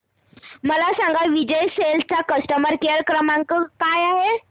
मला सांगा विजय सेल्स चा कस्टमर केअर क्रमांक काय आहे